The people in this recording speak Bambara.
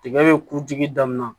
Tigɛ bɛ kurutigi daminɛ